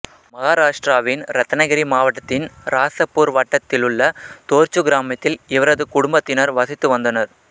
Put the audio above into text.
மகாராட்டிராவின் இரத்னகிரி மாவட்டத்தின் இராசபூர் வட்டத்திலுள்ள தோர்சு கிராமத்தில் இவரது குடும்பத்தினர் வசித்து வந்தனர்